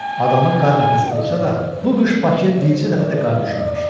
Adamı qar nəfəsi vursa da, bu qış Bakıya bircə dəfə də qar düşməmişdi.